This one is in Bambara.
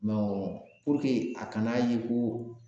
a kana ye ko